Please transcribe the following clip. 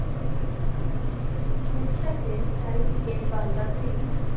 এর সাথে চারদিকেই বান্দা সিং